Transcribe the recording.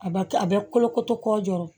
A bɛ kɛ a bɛ kolo koto kɔɔrɔ